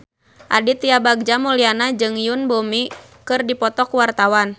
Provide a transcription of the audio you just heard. Aditya Bagja Mulyana jeung Yoon Bomi keur dipoto ku wartawan